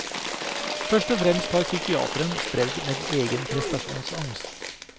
Først og fremst har psykiateren strevd med egen prestasjonsangst.